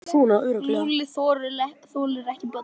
Lúlli þolir ekki börn.